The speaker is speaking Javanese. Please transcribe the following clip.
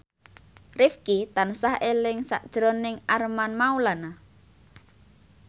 Rifqi tansah eling sakjroning Armand Maulana